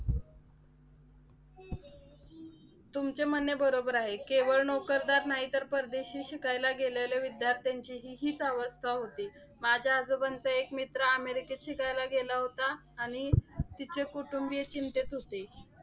तुमचे म्हणणे बरोबर आहे. केवळ नोकरदार नाही तर परदेशी शिकायला गेलेल्या विद्यार्थ्यांचीही हीच अवस्था होती. माझ्या आजोबांचा एक मित्र अमेरिकेत शिकायला गेला होता. आणि तिचे कुटुंबीय चिंतेत होते.